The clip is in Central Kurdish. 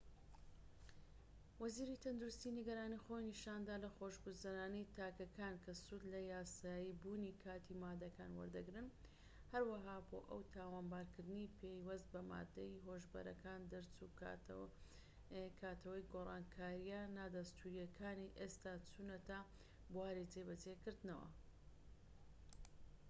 وەزیری تەندروستی نیگەرانی خۆی نیشاندا لە خۆشگوزەرانی تاکەکان کە سوود لە یاساییبوونی کاتی ماددەکان وەردەگرن هەروەها بۆ ئەو تاوانبارکردنی پەیوەست بە ماددە هۆشبەرەکان دەرچووە کاتەوەی گۆڕانکاریە نادەستووریەکانی ئێستا چوونەتە بواری جێبەجێکردنەوە